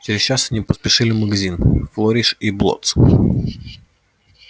через час они поспешили в магазин флориш и блоттс